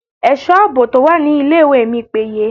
Ẹ̀sọ́ àbò tó wà ní ilé ìwé mi péye.